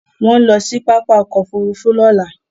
Wọ́n ń lọ sí pápá ọkọ̀-òfurufú lọ́la.